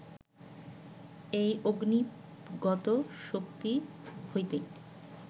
এই অগ্নিগত শক্তি হইতেই